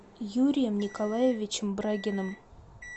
юрием николаевичем брагиным